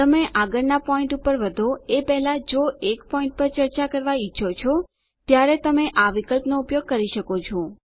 તમે આગળનાં પોઈન્ટ પર વધો એ પહેલા જો એક પોઈન્ટ પર ચર્ચા કરવા ઈચ્છો છો ત્યારે તમે આ વિકલ્પનો ઉપયોગ કરી શકો છો